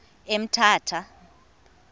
emthatha